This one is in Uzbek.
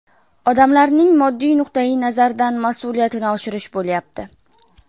Odamlarning moddiy nuqtayi nazardan mas’uliyatini oshirish bo‘lyapti.